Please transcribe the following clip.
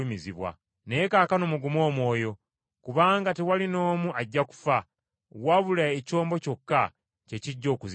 Naye kaakano mugume omwoyo! Kubanga tewali n’omu ajja kufa, wabula ekyombo kyokka kye kijja okuzikirira.